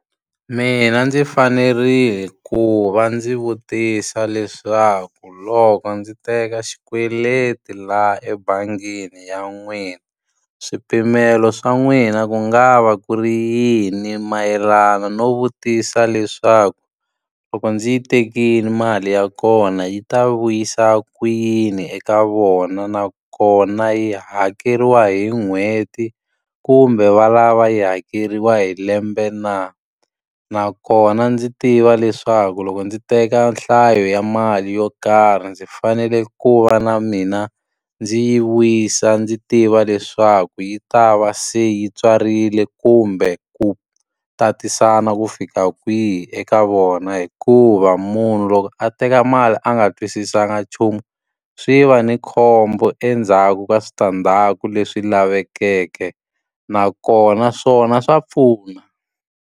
Mina ndzi fanerile ku va ndzi vutisa leswaku loko ndzi teka xikweleti laha ebangini ya n'wina, swipimelo swa n'wina ku nga va ku ri yini? Mayelana no vutisa leswaku, loko ndzi yi tekile mali ya kona yi ta vuyisa ku yini eka vona? Nakona yi hakeriwa hi n'hweti kumbe va lava yi hakeriwa hi lembe na? Nakona ndzi tiva leswaku loko ndzi teka nhlayo ya mali yo karhi, ndzi fanele ku va na mina ndzi yi vuyisa ndzi tiva leswaku yi ta va se yi tswarile kumbe ku tatisana ku fika kwihi eka vona? Hikuva munhu loko a teka mali a nga twisisanga nchumu, swi va ni khombo endzhaku ka switandzhaku leswi lavekeke. Nakona swona swa pfuna.